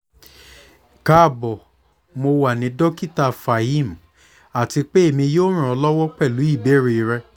kaabx mo wa ni dokita fahim ati pe emi yoo ran ọ lọwọ pẹlu ibeere rẹ